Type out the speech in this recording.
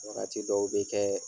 Wagati dɔw bi kɛ